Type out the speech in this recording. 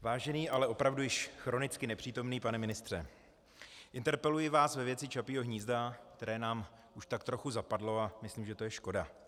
Vážený, ale opravdu již chronicky nepřítomný pane ministře, interpeluji vás ve věci Čapího hnízda, které nám už tak trochu zapadlo, a myslím, že to je škoda.